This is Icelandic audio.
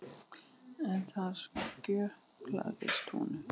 En þar skjöplaðist honum.